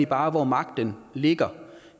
bare hvor magten ligger